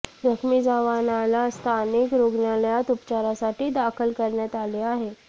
जखमी जवानाला स्थानिक रुग्णालयात उपचारासाठी दाखल करण्यात आले आहे